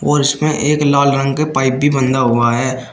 और इसमें एक लाल रंग के पाइप भी बंधा हुआ है।